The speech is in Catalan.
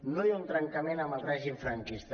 no hi ha un trencament amb el règim franquista